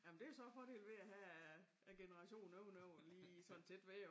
Jamen det så fordelen ved at have generationen ovenover lige sådan tæt ved jo